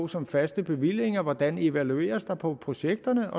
som faste bevillinger hvordan evalueres der på projekterne